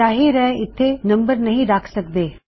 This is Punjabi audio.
ਜਾਹਿਰ ਹੈ ਇੱਥੇ ਨੰਬਰ ਨਹੀ ਰੱਖ ਸਕਦੇ